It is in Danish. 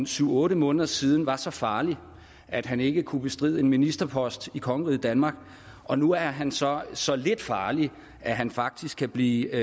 syv otte måneder siden var så farlig at han ikke kunne bestride en ministerpost i kongeriget danmark og nu er han så så lidt farlig at han faktisk kan blive